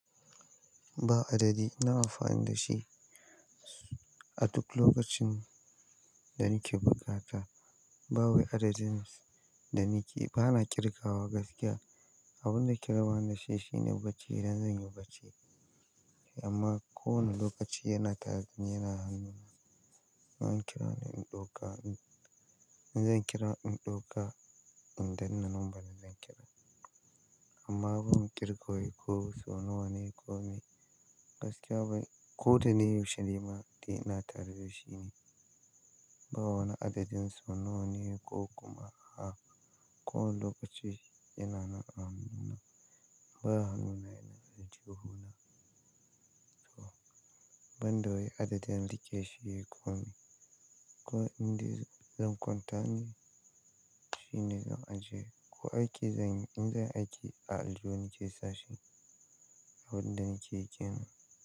Ba adadi ina amfani da shi a duk lokacin da nake bukata. Ba wani adadin da nake ba na ƙirgawa gaskiya. Abin da ke rabani dashi shine, bacci idan zan yi bacci amma ko wane lokaci yana tare dani, yana hannuna. In an kirani in ɗauka, in zan kira in ɗauka in danne number na zan kira. Amma ban ƙirga wai ko so nawa ne ko me gaskiya bai, ko da ne yaushe ne ma, dai ina tare dashi. Ba wani adadin so nawa ne ko kuma a ko wane lokaci yana na a hannuna. In baya hannuna yana a jihuna. To, ban da wai adadin rikeshi ne ko me. Ko in dai zan kwanta, shine zan ajiye. Ko aiki zan yi, in zan aiki a aljihu nake sashi, abin da nake ƙira.